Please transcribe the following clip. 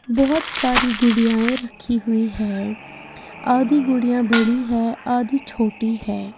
बहोत सारी गुड़ियाएं रखी हुई हैं आधी गुड़िया बड़ी है आधी छोटी है।